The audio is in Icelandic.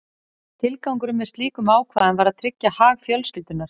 Tilgangurinn með slíkum ákvæðum var að tryggja hag fjölskyldunnar.